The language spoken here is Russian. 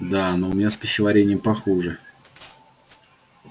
да но у меня с пищеварением похуже